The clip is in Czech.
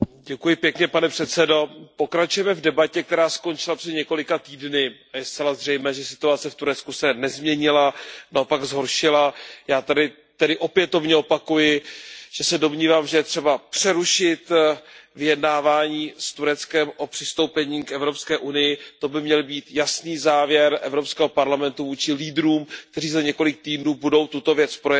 Pane předsedající, pokračujeme v debatě, která skončila před několika týdny a je zcela zřejmé, že situace v Turecku se nezměnila, naopak zhoršila se. Já tady opětovně opakuji, že se domnívám, že je třeba přerušit vyjednávání s Tureckem o přistoupení k Evropské unii, to by měl být jasný závěr Evropského parlamentu vůči lídrům, kteří budou za několik týdnů tuto věc projednávat.